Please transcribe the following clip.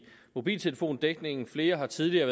mobiltelefondækningen flere har tidligere